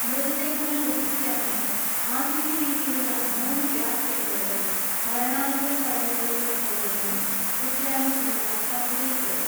മൃതദേഹങ്ങൾ ദഹിപ്പിക്കാനായി ആധുനിക രീതിയിലു ളള മൂന്ന് ഗ്യാസ് ചേംബറുകൾ, മരണാനന്തര ചടങ്ങുകൾക്ക് സൗകര്യങ്ങൾ, ഉദ്യാനം എന്നിവ പദ്ധതിയിൽപ്പെടും.